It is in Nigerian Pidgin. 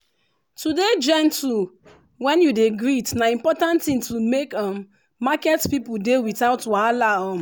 to dey gentle when you dey greet na important tin to make um market people dey without wahala um